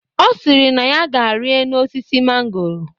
Ọ sịrị na ya ga-ari enu osisi mangoro